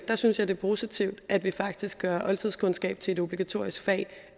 synes jeg det er positivt at vi faktisk gør oldtidskundskab til et obligatorisk fag